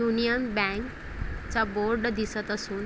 union bank चा board दिसत असून--